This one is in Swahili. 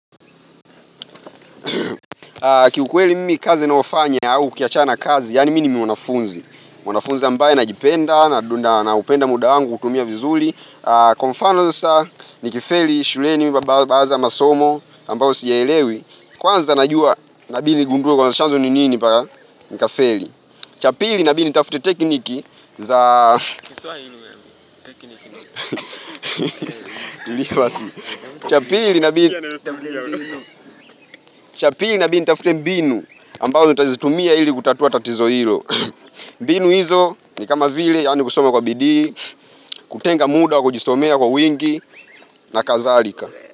Kiukweli mimi kazi naofanya au kukiachana kazi, yani mimi mwanafunzi. Mwanafunzi ambaye najipenda, na upenda muda wangu, utumia vizuli. Kwa mfano sasa, nikifeli shuleni mabao bao za masomo ambayo siyaelewi. Kwanza najua, nabidi nigunduwe kwanza chanzo ni nini mpaka nikafeli. Cha pili, nabidi, nitafute tekniki za Kiswa ilu ya tekniki ni. Hili ya basi. Cha pili, nabidi, nitafute mbinu. Ambao, nita zitumia ili kutatua tatizo hilo. Mbinu hizo ni kama vile, yani kusoma kwa bidii, kutenga muda, kujisomea kwa wingi, na kadhalika.